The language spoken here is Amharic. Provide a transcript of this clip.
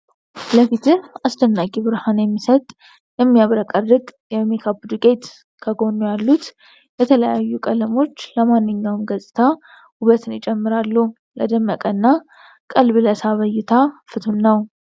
ለፊትህ አስደናቂ ብርሃን የሚሰጥ የሚያብረቀርቅ የሜካፕ ዱቄት። ከጎኑ ያሉት የተለያዩ ቀለሞች ለማንኛውም ገጽታ ውበትን ይጨምራሉ። ለደመቀና ቀልብ ለሳበ እይታ ፍቱን ነው።